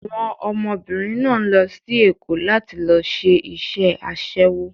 Àwọn ọmọbìnrin náà ń lọ sí Èkó láti lọ ṣe iṣẹ́ aṣẹ́wó.